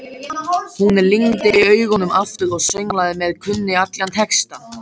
Hún lygndi augunum aftur og sönglaði með, kunni allan textann.